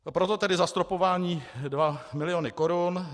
Proto tedy zastropování dva miliony korun.